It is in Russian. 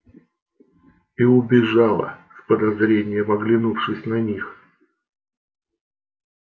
и убежала с подозрением оглянувшись на них